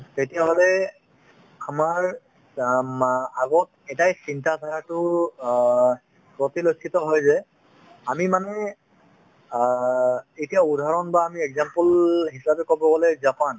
তেতিয়াহ'লে আমাৰ আ মা আগত এটায়ে চিন্তাৰ কথাতো অ প্ৰতিলক্ষিত হয় যে আমি মানে অ এতিয়া উদাহৰণ বা আমি example হিচাপে ক'ব গ'লে জাপান